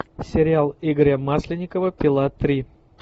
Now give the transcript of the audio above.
сериал игоря масленникова пила три